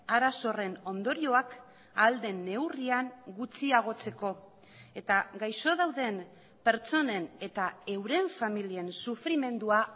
arazo horren ondorioak ahal den neurrian gutxiagotzeko eta gaixo dauden pertsonen eta euren familien sufrimendua